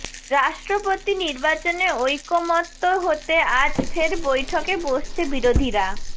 রাষ্ট্রপতি নির্বাচনে ঐকমত্য হতে আজ ফের বৈঠকে বসছে বিরোধীরা